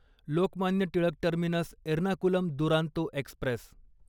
Lokmanya Tilak terminus Ernakulam Duronto Express